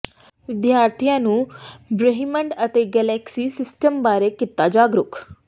ਵਿਦਿਆਰਥੀਆਂ ਨੂੰ ਬ੍ਰਹਿਮੰਡ ਤੇ ਗਲੈਕਸੀ ਸਿਸਟਮ ਬਾਰੇ ਕੀਤਾ ਜਾਗਰੂਕ